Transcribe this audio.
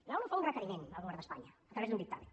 l’onu fa un requeriment al govern d’espanya a través d’un dictamen